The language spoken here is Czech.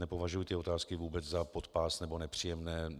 Nepovažuji ty otázky vůbec za podpásové nebo nepříjemné.